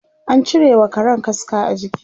an cirewa Karan kaska a jiki